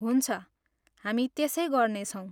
हुन्छ, हामी त्यसै गर्नेछौँ।